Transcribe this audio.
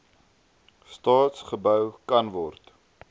staat gebou kanword